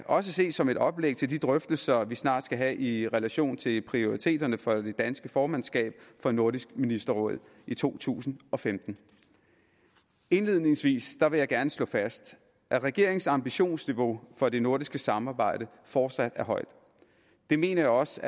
også ses som et oplæg til de drøftelser vi snart skal have i relation til prioriteterne for det danske formandskab for nordisk ministerråd i to tusind og femten indledningsvis vil jeg gerne slå fast at regeringens ambitionsniveau for det nordiske samarbejde fortsat er højt det mener jeg også